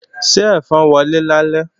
Ṣé ẹ̀fọn wọlé lálẹ́?